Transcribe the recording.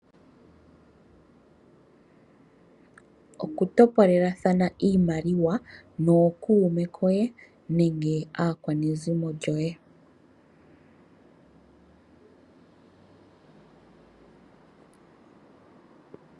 Okutopolelathana iimaliwa nokuume koye nenge aakwanezimo lyoye.